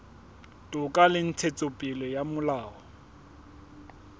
toka le ntshetsopele ya molao